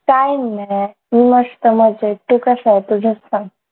काय मी मस्त मजेत तू कसाय तुझंच सांग